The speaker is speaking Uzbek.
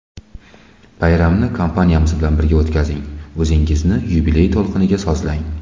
Bayramni kompaniyamiz bilan birga o‘tkazing, o‘zingizni yubiley to‘lqiniga sozlang!